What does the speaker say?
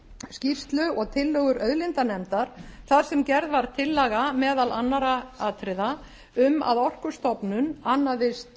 skýrslu og tillögur auðlindanefndar þar sem gerð var tillaga meðal annarra atriða um að orkustofnun annaðist